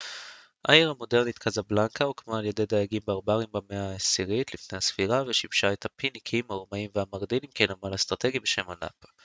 העיר המודרנית קזבלנקה הוקמה על ידי דייגים ברברים במאה העשירית לפנ ס ושימשה את הפיניקים הרומאים והמרנידים כנמל אסטרטגי בשם אנפה